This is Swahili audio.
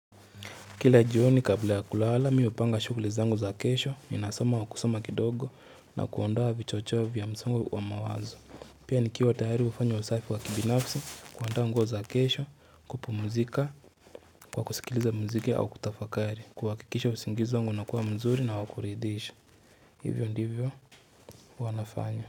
Kila jioni kabla ya kulala, mimi upanga shughuli zangu za kesho, ninasoma kwa kusoma kidogo na kuonda vichochoe vya msongo wa mawazo. Pia nikiwa tayari kufanya usafi wa kibinafsi, kuaanda ngoo za kesho, kupu muzika, kwa kusikiliza muziki au kutafakari, kuhakikisha usingizi wangu unakuwa mzuri na wakuridisha. Hivyo ndivyo wanafanya.